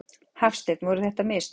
Hafsteinn: Voru það mistök?